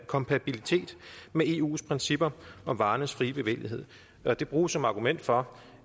kompatibilitet med eu’s principper om varernes frie bevægelighed det bruges som argument for